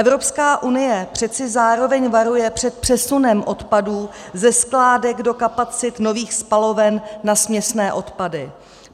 Evropská unie přece zároveň varuje před přesunem odpadů ze skládek do kapacit nových spaloven na směsné odpady.